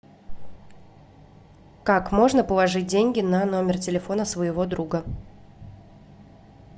как можно положить деньги на номер телефона своего друга